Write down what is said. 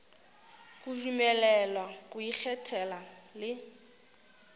go dumelelwa go ikgethela le